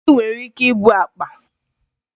Ndị nwere ike ibu akpa